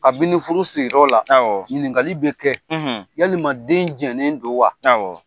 A bi ni furu sigiyɔrɔ la , ɲininkali bi kɛ yalama den jɛnen don wa?